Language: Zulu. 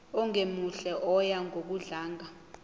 ongemuhle oya ngokudlanga